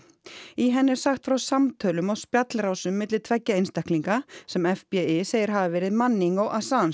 í henni er sagt frá samtölum á spjallrásum milli tveggja einstaklinga sem segir hafa verið Manning og